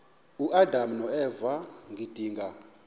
uadam noeva ngedinga